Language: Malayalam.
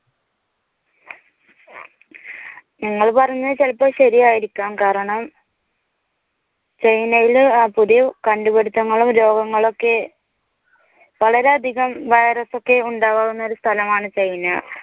നിങ്ങൾ പറഞ്ഞത് ചിലപ്പോൾ ശരിയായിരിക്കാം കാരണം china യിലു പുതിയ കണ്ടുപിടുത്തങ്ങളും രോഗങ്ങളും ഒക്കെ വളരെയധികം വൈറസ് ഒക്കെ ഉണ്ടാകാവുന്ന സ്ഥലമാണ് china.